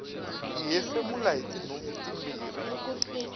hi hefemula hitinhompfu timbirhi